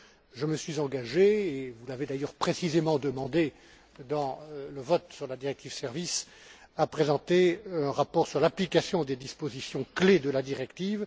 Je me suis engagé, et vous l'avez d'ailleurs précisément demandé dans le vote sur la directive sur les services, à présenter un rapport sur l'application des dispositions clés de la directive.